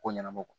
Ko ɲɛnɛbɔ